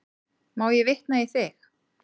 Má ég vitna í þig?